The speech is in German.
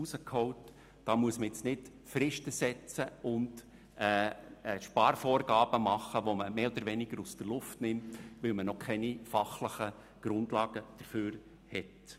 Hierfür müssen keine Fristen gesetzt werden und Sparvorgaben gemacht werden, die man mehr oder weniger aus der Luft nimmt, weil noch keine fachlichen Grundlagen dafür bestehen.